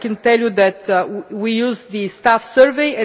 I can tell you that we use the staff survey.